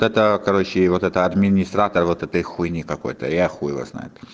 это короче вот это администратор вот этой хуйни какой-то я хуй его знает